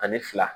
Ani fila